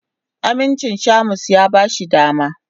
Amincin Shamus ya ba shi dama.